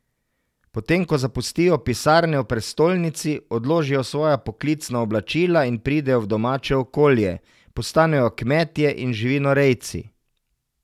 Potem ko zapustijo pisarne v prestolnici, odložijo svoja poklicna oblačila in pridejo v domače okolje, postanejo kmetje in živinorejci.